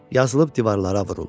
Yazılıb divarlara vuruldu.